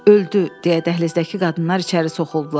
Öldü, deyə dəhlizdəki qadınlar içəri soxuldular.